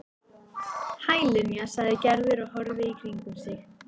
Hæ, Linja sagði Gerður og horfði í kringum sig.